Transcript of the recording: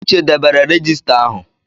Uche debere regista ahụ.